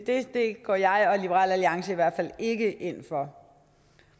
går jeg og liberal alliance i hvert fald ikke ind for